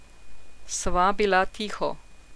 Sva bila tiho.